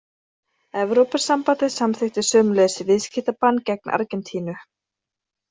Evrópusambandið samþykkti sömuleiðis viðskiptabann gegn Argentínu.